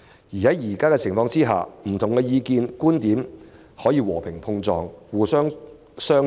如此一來，不同意見、觀點可以和平碰撞，透過商